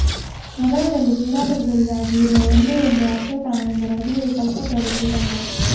ನಗರದಲ್ಲಿ ಕ್ರೀಡಾಪಟುಗಳಿಗಾಗಿ ಇರುವ ಒಂದೇ ಒಂದು ಆಶ್ರಯ ತಾಣವೆಂದರೆ ಅದುವೆ ಕಲ್ಪತರು ಕ್ರೀಡಾಂಗಣ